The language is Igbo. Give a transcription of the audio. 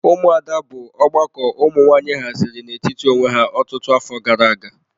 Ụmụada bụ ọgbakọ ụmụ nwanyị haziri n'etiti onwe ha ọtụtụ afọ gara aga.